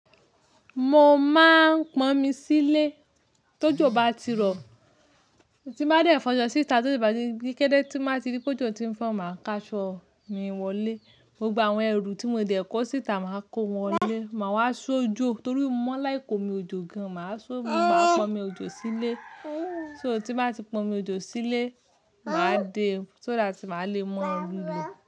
Mo máa ń pọn omi sílé tó ojo ọba tí rọ, tí máa ń dẹ̀ fọṣọ síta, tó ojo bá ti gẹ́gẹ́ tí máa ti rí pé ojò tí ń fọ́n máa kaṣọ mi wọlé. Gbogbo àwọn ẹrù tí mo ti dẹ̀ kó síta máa kó wọn wọlé. Máa wá ṣu ojò torí mó ma like omi ojò gan. Màá ṣu omi, mo máa pọn omi ojò sílé. So, tí báa ti pọn omi ojò sílé, màá dé, so that màá le maa rí lò.